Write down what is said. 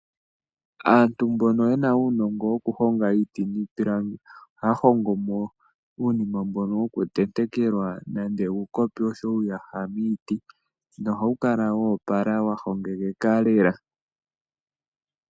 Aantu mbono yena uunongo wokuhonga iiti niipilangi , ohaya hongomo uunima mbono wokutentekelwa nande uukopi oshowoo uuyaha miiti nohawu kala woopala lela wahongekeka lela.